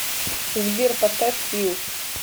сбер поставь фил